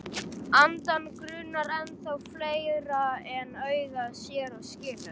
Andann grunar ennþá fleira en augað sér og skilur.